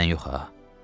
Məndən yox ha.